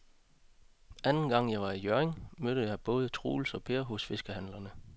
Anden gang jeg var i Hjørring, mødte jeg både Troels og Per hos fiskehandlerne.